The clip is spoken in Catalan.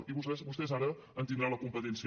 i vostès ara en tindran la competència